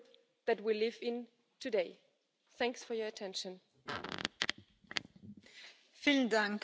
adequate pension when they need it.